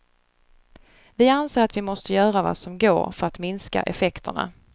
Vi anser att vi måste göra vad som går för att minska effekterna.